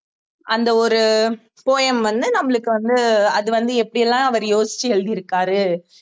அந்த ஒரு poem வந்து நம்மளுக்கு வந்து அது வந்து எப்படி எல்லாம் அவர் யோசிச்சு எழுதிருக்காரு